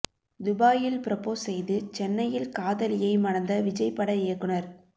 துபாயில் ப்ரொபோஸ் செய்து சென்னையில் காதலியை மணந்த விஜய் பட இயக்குநர்